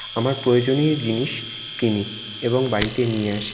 আমার প্রয়োজনীয় জিনিস কিনি এবং বাড়িতে নিয়ে আসি।